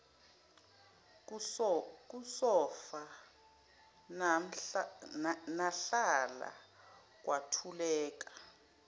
kusofa nahlala kwathuleka